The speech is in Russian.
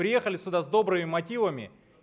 приехали сюда с добрыми мотивами